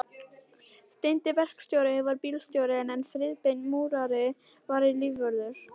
Steini verkstjóri var bílstjóri en Friðbert múrari var lífvörður.